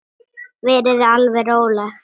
Verið þið alveg róleg.